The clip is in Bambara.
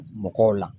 Mɔgɔw la